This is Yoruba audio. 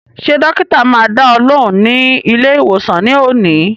Ṣé dọ́kítá máa dá ọ lóhùn ní ilé ìwòsàn ní òní?